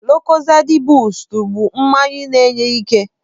Lukozedị bustu bụ mmanya na-enye ike.